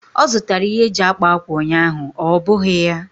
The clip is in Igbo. Ọ zụtara ihe eji akpa ákwà ụnyaahụ, ọ́ bụghị ya?